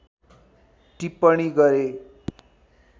टिप्पणी गरे